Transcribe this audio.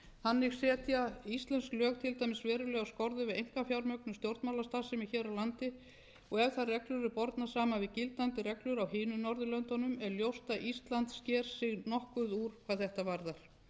þannig setja íslensk lög til dæmis verulegar skorður við einkafjármögnun stjórnmálastarfsemi hér á landi og ef þær reglur eru bornar saman við gildandi reglur á hinum norðurlöndunum er ljóst að ísland sker sig nokkuð úr hvað þetta varðar